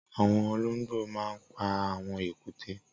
Awọn ọlọngbó mà n pà awọn ékùté